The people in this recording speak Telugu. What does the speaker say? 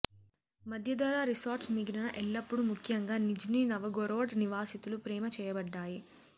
మధ్యధరా రిసార్ట్స్ మిగిలిన ఎల్లప్పుడూ ముఖ్యంగా నిజ్నీ నవగోరోడ్ నివాసితులు ప్రేమ చేయబడ్డాయి